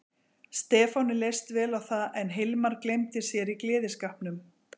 Stefáni leist vel á það en Hilmar gleymdi sér í gleðskapnum.